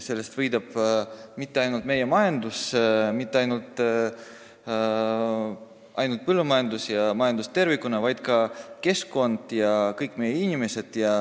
Mahepõllumajandusest ei võida mitte ainult meie põllumajandus ja majandus tervikuna, vaid võidavad ka keskkond ja kõik meie inimesed.